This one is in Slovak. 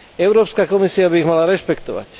Európska komisia by ich mala rešpektovať.